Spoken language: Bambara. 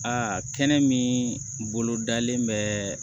Aa kɛnɛ min bolodalen bɛ